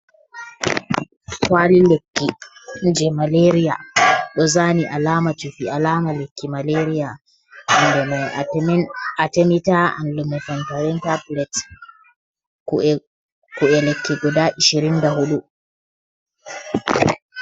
Kwali lekki je malariya ɗozani alama cufi alama lekki malariya inde mai atemin atemita an lume fentawentaa tabulet, ku'e ku'e lekki guda ashirin da huɗu.